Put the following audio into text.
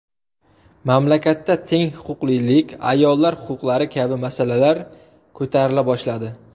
Mamlakatda teng huquqlilik, ayollar huquqlari kabi masalalar ko‘tarila boshladi.